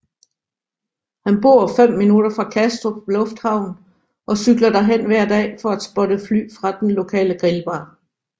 Han bor fem minutter fra Kastrup lufthavn og cykler derhen hver dag for at spotte fly fra den lokale grillbar